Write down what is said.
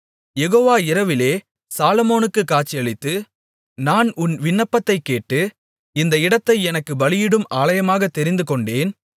யெகோவா இரவிலே சாலொமோனுக்குக் காட்சியளித்து நான் உன் விண்ணப்பத்தைக் கேட்டு இந்த இடத்தை எனக்கு பலியிடும் ஆலயமாகத் தெரிந்துகொண்டேன்